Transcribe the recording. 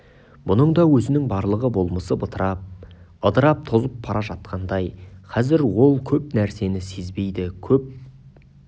бұның да өзінің барлығы болмысы бытырап ыдырап тозып бара жатқандай қазір ол көп нәрсені сезбейді көп